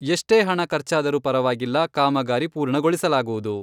ಎಷ್ಟೇ ಹಣ ಖರ್ಚಾದರೂ ಪರವಾಗಿಲ್ಲ ಕಾಮಗಾರಿ ಪೂರ್ಣಗೊಳಿಸಲಾಗುವುದು.